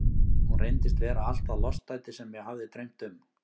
Hún reyndist vera allt það lostæti sem mig hafði dreymt um.